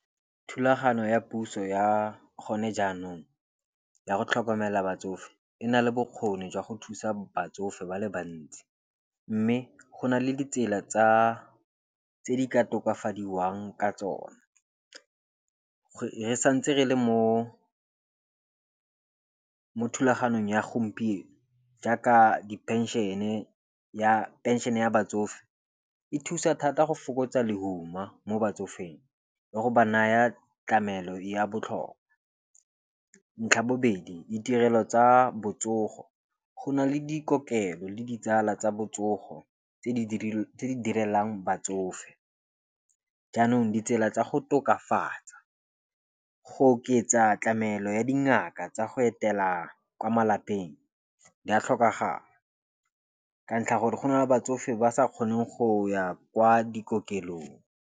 Thulaganyo ya puso ya gone jaanong ya go tlhokomela batsofe e na le bokgoni jwa go thusa batsofe ba le bantsi. Mme go na le ditsela tsa tse di ka tokafadiwang ka tsone. Re santse re le mo thulaganyong ya gompieno. Jaaka dipenšene ya penšene ya batsofe. E thusa thata go fokotsa lehuma mo batsofeng le go ba naya tlamelo ya botlhoko. Ntlha bobedi ditirelo tsa botsogo go na le dikokelo le ditsala tsa botsogo tse di direlwang batsofe. Jaanong, ditsela tsa go tokafala go oketsa tlamelo ya dingaka tsa go etela kwa malapeng di a tlhokagala, ka ntlha gore go na le batsofe ba sa kgoneng go ya kwa dikokelong.